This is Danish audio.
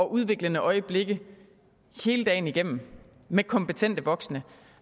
udviklende øjeblikke hele dagen igennem med kompetente voksne